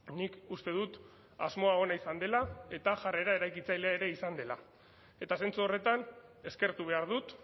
nik uste dut asmoa ona izan dela eta jarrera eraikitzailea ere izan dela eta zentzu horretan eskertu behar dut